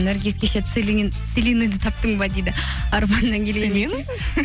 наргиз кеше таптың ба дейді